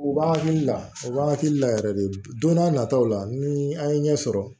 U b'an hakili la o b'an hakili la yɛrɛ de don n'a nataw la ni an ye ɲɛ sɔrɔ